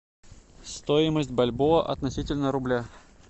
стоимость бальбоа относительно рубля